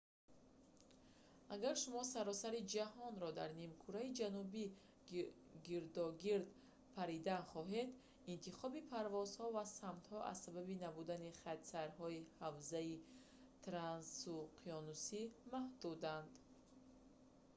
агар шумо саросари ҷаҳонро дар нимкураи ҷанубӣ гирдогирд паридан хоҳед интихоби парвозҳо ва самтҳо аз сабаби набудани хатсайрҳои ҳавзаи трансуқёнусӣ маҳдуданд